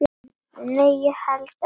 Nei, ég hélt ekki.